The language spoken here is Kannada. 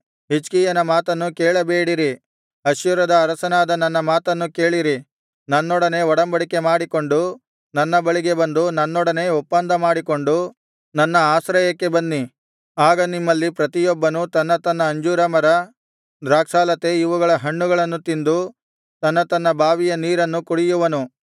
ಹಿಜ್ಕೀಯನ ಮಾತನ್ನು ಕೇಳಬೇಡಿರಿ ಅಶ್ಶೂರದ ಅರಸನಾದ ನನ್ನ ಮಾತನ್ನು ಕೇಳಿರಿ ನನ್ನೊಡನೆ ಒಡಂಬಡಿಕೆ ಮಾಡಿಕೊಂಡು ನನ್ನ ಬಳಿಗೆ ಬಂದು ನನ್ನೊಡನೆ ಒಪ್ಪಂದ ಮಾಡಿಕೊಂಡು ನನ್ನ ಆಶ್ರಯಕ್ಕೆ ಬನ್ನಿ ಆಗ ನಿಮ್ಮಲ್ಲಿ ಪ್ರತಿಯೊಬ್ಬನೂ ತನ್ನ ತನ್ನ ಅಂಜೂರ ಮರ ದ್ರಾಕ್ಷಾಲತೆ ಇವುಗಳ ಹಣ್ಣುಗಳನ್ನು ತಿಂದು ತನ್ನ ತನ್ನ ಬಾವಿಯ ನೀರನ್ನು ಕುಡಿಯುವನು